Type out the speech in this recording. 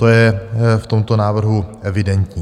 To je v tomto návrhu evidentní.